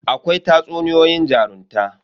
Akwai tatsuniyoyin jarunta.